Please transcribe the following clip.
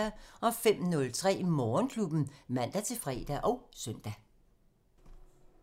05:03: Morgenklubben (man-fre og søn)